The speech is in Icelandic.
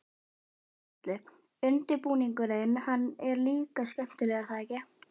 Gunnar Atli: Undirbúningurinn, hann er líka skemmtilegur er það ekki?